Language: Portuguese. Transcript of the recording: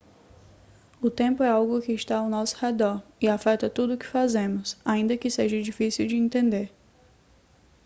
o tempo é algo que está ao nosso redor e afeta tudo o que fazemos ainda que seja difícil de entender